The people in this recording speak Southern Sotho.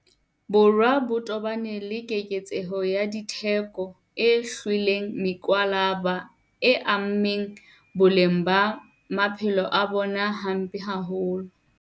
Borwa ba tobane le keketseho ya ditheko e hlweleng mokwalaba e ameng boleng ba maphelo a bona hampe haholo.